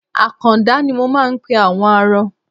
Àkàndá ni mo máa ń pe àwọn arọ.